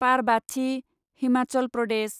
Parbati, Himachal Pradesh